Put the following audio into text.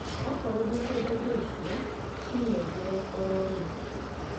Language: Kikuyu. Wakorwo ndũkwenda indo icio cinengera ororĩu